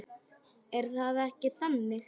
Er það ekki þannig?